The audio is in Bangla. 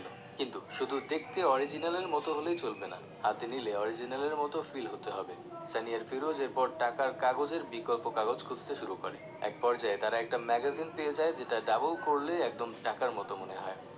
কিন্তু শুধু দেখতে original এর মত হলেই চলবে না হাতে নিলে original এর মত feel হতে হবে সানি আর ফিরোজ এরপর টাকার কাগজের বিকল্প কাগজ খুঁজতে শুরু করে এক পর্যায়ে তাঁরা একটা magazine পেয়ে যায় যেটা double করলে একদম টাকার মত মনে হয়